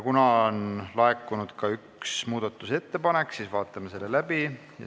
Kuna on laekunud üks muudatusettepanek, siis vaatame selle läbi.